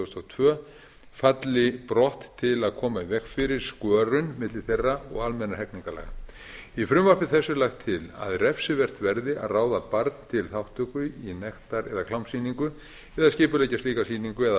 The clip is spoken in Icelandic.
þúsund og tvö falli brott til að koma í veg fyrir skörun milli þeirra og almennra hegningarlaga í frumvarpi þessu er lagt til að refsivert verði að ráða barn til þátttöku í nektar eða klámsýningu eða skipuleggja slíka sýningu eða